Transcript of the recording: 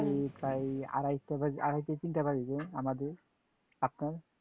এই প্রায় আড়াইটা বাজে আড়াইটা তিনটা বাজে যে আমাদের, আপনার?